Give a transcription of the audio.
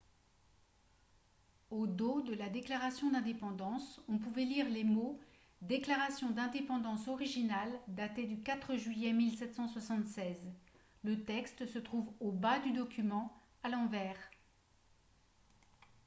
au dos de la déclaration d'indépendance on pouvait lire les mots « déclaration d'indépendance originale datée du 4 juillet 1776 ». le texte se trouve au bas du document à l'envers